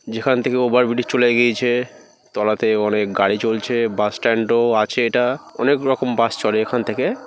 যেখান থেকে over bridge চলে গিয়েছে। তলাতে অনেক গাড়ি চলছে। বাস স্ট্যান্ড ও আছে এটা। অনেক রকম বাস চলে এখান থেকে।